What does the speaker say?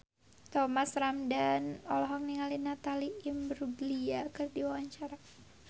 Thomas Ramdhan olohok ningali Natalie Imbruglia keur diwawancara